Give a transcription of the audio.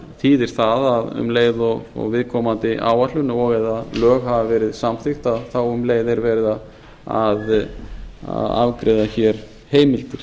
þýðir það að um leið og viðkomandi áætlun og eða lög hafa verið samþykkt þá um leið er verið að afgreiða hér heimildir